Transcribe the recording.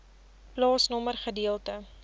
plaasnommer gedeelte